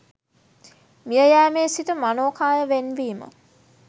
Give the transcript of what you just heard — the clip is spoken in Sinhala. මිය යෑමේ සිට මනෝ කාය වෙන්වීම